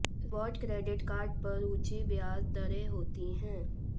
reward credit card पर ऊंची ब्याज दरें होती हैं